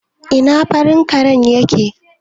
Ina farin karen yake?